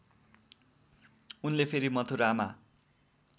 उनले फेरि मथुरामा